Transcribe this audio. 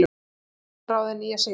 Var staðráðin í að sigra.